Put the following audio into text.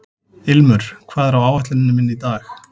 Ilmur, hvað er á áætluninni minni í dag?